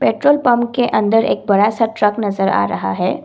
Petrol pump के अंदर एक बड़ा सा ट्रक नजर आ रहा है।